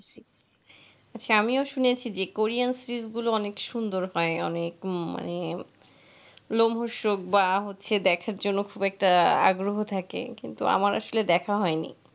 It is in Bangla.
আচ্ছা আমিও শুনেছি যে কোরিয়ান series গুলো অনেক সুন্দর হয়, অনেক মানে রোমহর্ষক বা হচ্ছে দেখার জন্য খুব একটা আগ্রহ থাকে, কিন্তু আমার আসলে দেখা হয়নি,